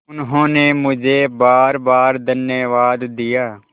उन्होंने मुझे बारबार धन्यवाद दिया